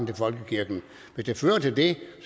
til folkekirken hvis det fører til det